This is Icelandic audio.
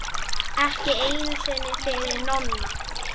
Ekki einu sinni fyrir Nonna.